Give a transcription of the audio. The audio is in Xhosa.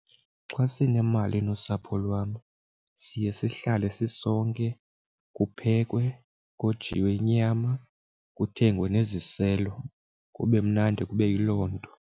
Xa sinemali nosapho lwam siye sihlale sisonke kuphekwe, kojiwe inyama kuthengwe neziselo, kube mnandi kube yiloo nto.